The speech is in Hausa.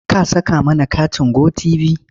Ka saka mana katin Go tv?